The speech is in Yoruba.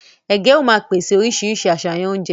Ègé ó má pèsè oríṣiríṣi àṣàyàn oúnjẹ